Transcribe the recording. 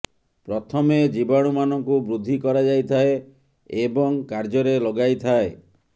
ପ୍ରଥମେ ଜୀବାଣୁ ମାନଙ୍କୁ ବୃଦ୍ଧି କରାଯାଇଥାଏ ଏବଂ କାର୍ଯ୍ୟରେ ଲଗାଇଥାଏ